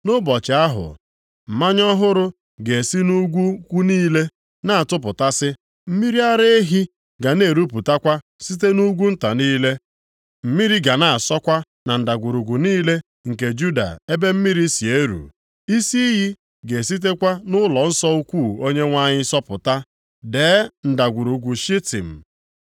“Nʼụbọchị ahụ, mmanya ọhụrụ ga-esi nʼugwu ukwu niile na-atapụtasị, mmiri ara ehi ga na-erupụtakwa site nʼugwu nta niile; mmiri ga na-asọkwa na ndagwurugwu niile nke Juda ebe mmiri si eru. Isi iyi ga-esitekwa nʼụlọnsọ ukwu Onyenwe anyị sọpụta dee Ndagwurugwu Shitim.